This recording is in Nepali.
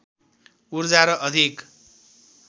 ऊर्जा र अधिक